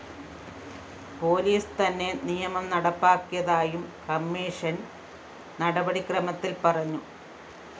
police തന്നെ നിയമം നടപ്പാക്കിയതായും കമ്മീഷൻ നടപടിക്രമത്തില്‍ പറഞ്ഞു